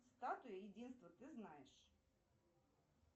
статуя единства ты знаешь